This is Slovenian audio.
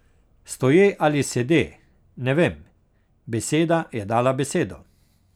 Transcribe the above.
Stoje ali sede, ne vem, beseda je dala besedo.